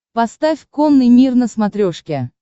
поставь конный мир на смотрешке